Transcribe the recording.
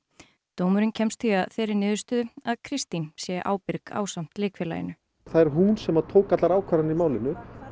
dómurinn kemst því að þeirri niðurstöðu að Kristín sé ábyrg ásamt leikfélaginu það er hún sem að tók allar ákvarðanir í málinu